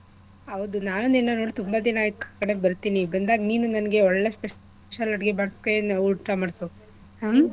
ಹೌದು ನಾನೂ ನಿನ್ನ ನೋಡಿ ತುಂಬಾ ದಿನ ಆಯ್ತು ಆ ಕಡೆ ಬರ್ತೀನಿ ಬಂದಾಗ ನೀನು ನನ್ಗೆ ಒಳ್ಳೆ special ಅಡ್ಗೆ ಮಾಡ್ಸಿಕೈಲಿ ಊಟ ಮಾಡ್ಸು ಹ್ಮ್.